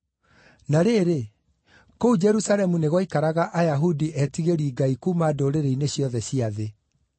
Na rĩrĩ, kũu Jerusalemu nĩ gwaikaraga Ayahudi etigĩri Ngai kuuma ndũrĩrĩ-inĩ ciothe cia thĩ.